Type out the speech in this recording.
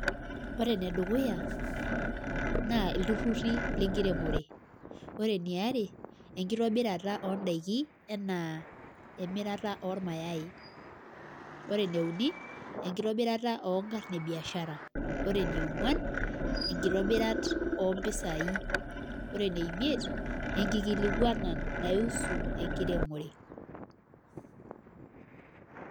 Ore enedukuya naa ilturruri lenkiremore ore eniare naa enkitobirata oondaiki enaa emirata ormayaai ore ene uni enkitobirata oonkarn ebiashara ore eniongwan enkitobirat ompisaai ore eneimiet enkikilikuana naiusu enkiremore.